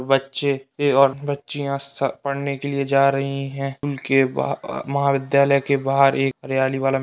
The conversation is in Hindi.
बच्चे एवं बच्चियाँ स पढ़ने के लिए जा रहीं हैं। स्कूल के बा एक महाविद्यालय के बाहर एक हरियाली वाला --